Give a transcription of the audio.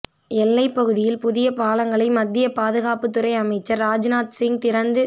எல்லை பகுதியில் புதிய பாலங்களை மத்திய பாதுகாப்புத் துறை அமைச்சர் ராஜ்நாத்சிங் திறந்து